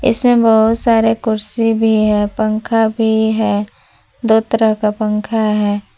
इसमें बहोत सारे कुर्सी भी है पंखा भी है दो तरह का पंखा है।